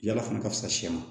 Yala fana ka fisa sɛ wa